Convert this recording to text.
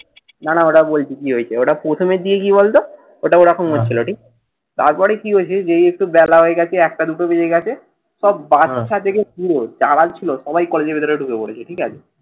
না। না। ওটা বলছি কি হইছে, ওটা প্রথমের দিকে কি বলতো? ওটা ওরকম হচ্ছিল ঠিক। তারপরে কি হয়েছে? যেই একটু বেলা হয়ে গেছে। একটা দুটো বেজে গেছে। সব বাদশা থেকে ফুড়ুৎ। যারা ছিল সবাই কলেজের ভিতরে ঢুকে পরেছে। ঠিক আছে।